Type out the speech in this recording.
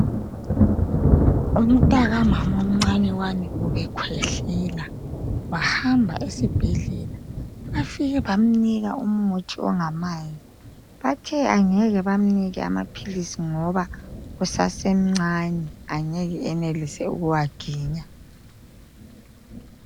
Umntaka mama omncane ubegula ekhwehlela wahamba esibhedlela bafike bamnika umuthi ongamanzi bathe abangeke bemnike amaphilisi ngoba usase mncani angeke enelise ukuwaginya.